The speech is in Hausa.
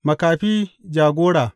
Makafi jagora!